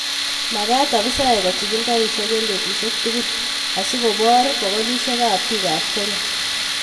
Magat afisaek kochigil garisiek eng betusiek tugul asikor bogolusiekab bikap Kenya